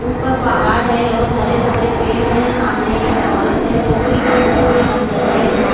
ऊपर पहाड़ है और हरे भरे पेड़ हैं सामने एक औरत है जो कि पत्थर के अंदर है।